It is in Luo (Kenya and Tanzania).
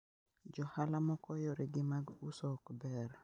Johala moko yore gi mag uso ok ber